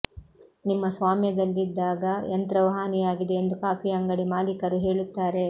ನಿಮ್ಮ ಸ್ವಾಮ್ಯದಲ್ಲಿದ್ದಾಗ ಯಂತ್ರವು ಹಾನಿಯಾಗಿದೆ ಎಂದು ಕಾಫಿ ಅಂಗಡಿ ಮಾಲೀಕರು ಹೇಳುತ್ತಾರೆ